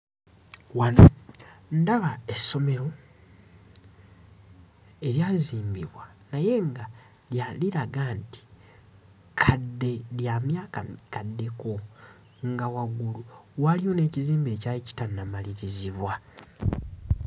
Wano ndaba essomero eryazimbibwa naye nga liraga nti kadde, lya myaka mikaddeko, nga waggulu waaliyo n'ekizimbe ekyali kitannamalirizibwa.